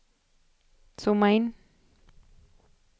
zooma in